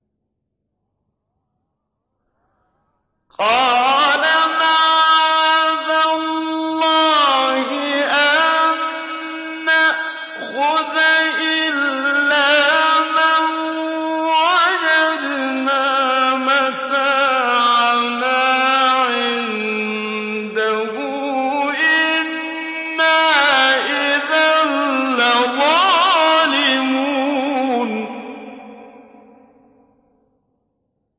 قَالَ مَعَاذَ اللَّهِ أَن نَّأْخُذَ إِلَّا مَن وَجَدْنَا مَتَاعَنَا عِندَهُ إِنَّا إِذًا لَّظَالِمُونَ